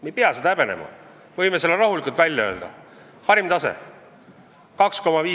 Me ei pea seda häbenema, võime selle rahulikult välja öelda: parim tase!